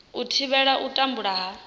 u thivhela u tambudzwa ha